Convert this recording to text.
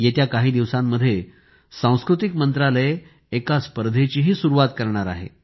येत्या काही दिवसांमध्ये सांस्कृतिक मंत्रालय एका स्पर्धेची सुरुवात करणार आहे